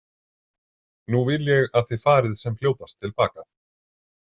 Nú vil ég að þið farið sem fljótast til baka.